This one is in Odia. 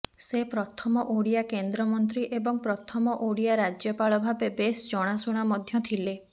ସେ ପ୍ରଥମ ଓଡ଼ିଆ କେନ୍ଦ୍ରମନ୍ତ୍ରୀ ଏବଂ ପ୍ରଥମ ଓଡ଼ିଆ ରାଜ୍ୟପାଳ ଭାବେ ବେଶ୍ ଜଣାଶୁଣା ମଧ୍ୟ ଥିଲେ